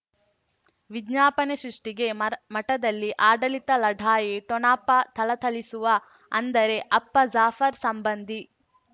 ವಿಜ್ಞಾಪನೆ ಸೃಷ್ಟಿಗೆ ಮರ ಮಠದಲ್ಲಿ ಆಡಳಿತ ಲಢಾಯಿ ಠೊಣಪ ಥಳಥಳಿಸುವ ಅಂದರೆ ಅಪ್ಪ ಜಾಫರ್ ಸಂಬಂಧಿ